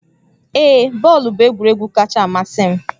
Ee, bọọlụ bụ egwuregwu kacha amasị m